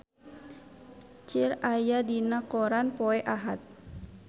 Cher aya dina koran poe Ahad